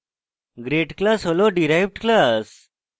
grade class হল derived class